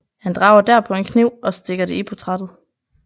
Han drager derpå en kniv og stikker det i portrættet